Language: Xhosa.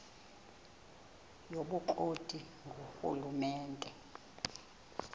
yobukro ti ngurhulumente